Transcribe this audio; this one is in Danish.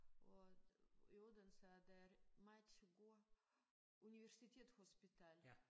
Og i Odense der er der meget gode universitetshospital